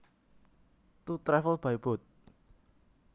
To travel by boat